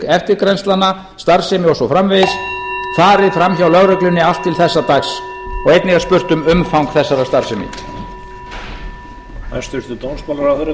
eftirgrennslana greiningar öryggis eða leyniþjónustustarfsemi farið fram hjá lögreglunni allt til þessa dags einnig er spurt um umfang þessarar starfsemi